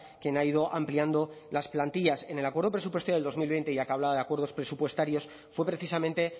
quien ha ido ampliando las plantillas en el acuerdo presupuestario del dos mil veinte ya que hablaba de acuerdos presupuestarios fue precisamente